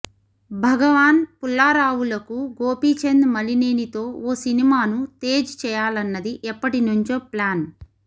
భగవాన్ పుల్లారావులకు గోపీచంద్ మలినేనితో ఓ సినిమాను తేజ్ చేయాలన్నది ఎప్పటి నుంచో ప్లాన్